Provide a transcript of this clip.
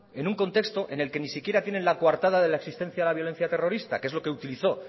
en un contexto en el que ni siquiera tienen la coartada de la existencia a la violencia terrorista que es lo que utilizó